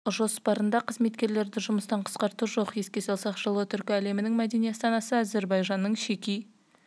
қазақстан басшылығының жоспарында қызметкерлерді жұмыстан қысқарту жоқ еске салсақ жылы түркі әлемінің мәдени астанасы әзербайжанның шеки